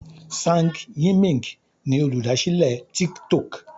Zhang Yiming ni Olùdásílẹ̀ tik tok.